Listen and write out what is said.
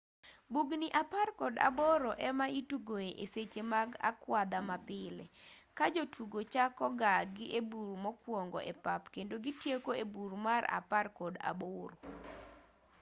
bugni apar kod aboro ema itugoe e seche mag akwadha mapile ka jotugo chako ga gi e bur mokuongo e pap kendo gitieko e bur mar apar kod aboro